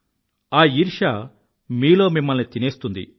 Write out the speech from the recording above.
ఆ ఈర్ష్య మీలో మిమ్మల్ని తినేస్తుంది